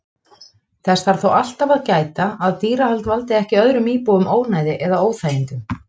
Þess þarf þó alltaf að gæta að dýrahald valdi ekki öðrum íbúum ónæði eða óþægindum.